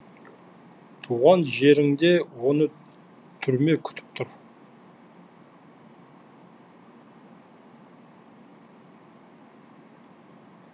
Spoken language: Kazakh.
туған жерінде оны түрме күтіп тұр